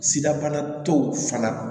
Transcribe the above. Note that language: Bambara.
Sidabana tɔw fana